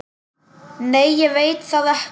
Nei ég veit það ekki.